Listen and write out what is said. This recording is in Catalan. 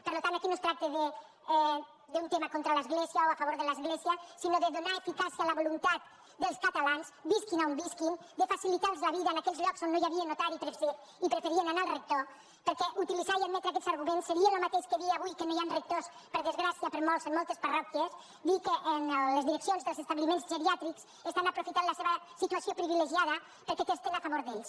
per tant aquí no es tracta d’un tema contra l’església o a favor de l’església sinó de donar eficàcia a la voluntat dels catalans visquin a on visquin de facilitar los la vida en aquells llocs on no hi havia notari i preferien anar al rector perquè utilitzar i admetre aquests arguments seria el mateix que a dia avui que no hi han rectors per desgràcia per molts en moltes parròquies dir que en les direccions dels establiments geriàtrics estan aprofitant la seva situació privilegiada perquè testin a favor d’ells